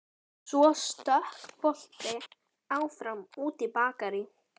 Svo stökk boli áfram út í Bakarí.